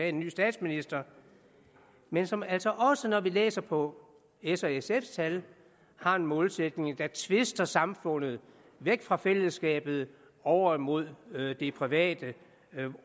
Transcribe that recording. en ny statsminister men som altså også når vi læser på s og sfs tal har en målsætning der tvister samfundet væk fra fællesskabet over mod det private